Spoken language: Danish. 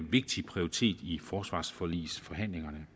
vigtig prioritet i forsvarsforligsforhandlingerne